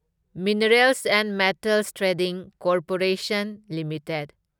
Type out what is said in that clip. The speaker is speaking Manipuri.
minerals and metals trading corporation limited